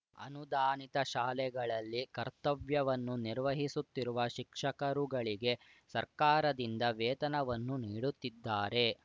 ಅನುದಾನಿತ ಶಾಲೆಗಳಲ್ಲಿ ಕರ್ತವ್ಯವನ್ನು ನಿರ್ವಹಿಸುತ್ತಿರುವ ಶಿಕ್ಷಕರುಗಳಿಗೆ ಸರ್ಕಾರದಿಂದ ವೇತನವನ್ನು ನೀಡುತ್ತಿದ್ದಾರೆ